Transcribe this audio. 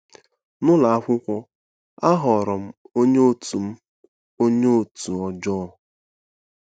N'ụlọ akwụkwọ, aghọrọ m onye òtù m onye òtù ọjọọ.